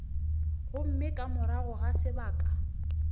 gomme ka morago ga sebaka